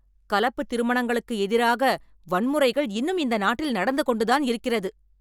கலப்பு திருமணங்களுக்கு எதிராக வன்முறைகள் இன்னும் இந்த நாட்டில் நடந்து கொண்டுதான் இருக்கிறது.